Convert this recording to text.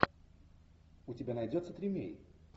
у тебя найдется тримей